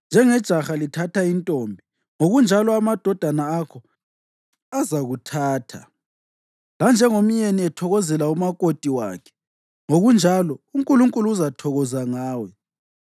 Njengejaha lithatha intombi, ngokunjalo amadodana akho azakuthatha; lanjengomyeni ethokozela umakoti wakhe, ngokunjalo uNkulunkulu uzathokoza ngawe.